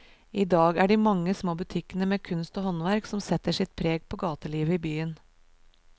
I dag er det de mange små butikkene med kunst og håndverk som setter sitt preg på gatelivet i byen.